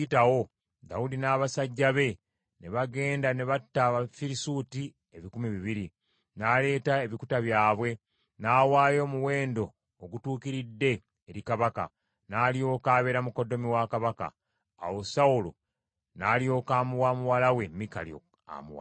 Dawudi n’abasajja be ne bagenda ne batta Abafirisuuti ebikumi bibiri. N’aleeta ebikuta byabwe, n’awaayo omuwendo ogutuukiridde eri kabaka, alyoke abeere mukoddomi wa kabaka. Awo Sawulo n’alyoka amuwa muwala we Mikali amuwase.